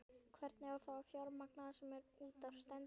Hvernig á þá að fjármagna það sem út af stendur?